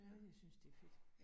Ja, jeg synes det er fedt